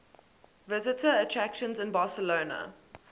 visitor attractions in barcelona